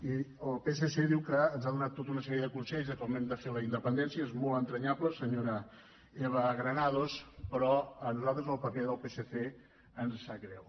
i el psc diu que ens ha donat tota una sèrie de consells de com hem de fer la independència és molt entranyable senyora eva granados però a nosaltres el paper del psc ens sap greu